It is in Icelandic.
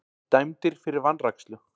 Dæmdir fyrir vanrækslu